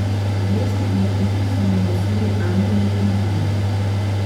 Jesti in piti so mu nosili angeli in vile.